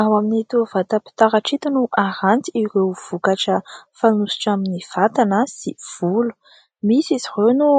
Ao amin'ito vatam-pitaratra ito no aranty ireo vokatra fanosotra amin'ny vatana sy volo. Misy izy ireo no